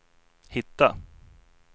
hitta